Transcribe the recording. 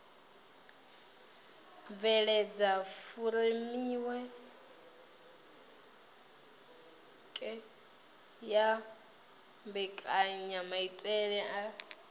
bveledza furemiweke ya mbekanyamaitele a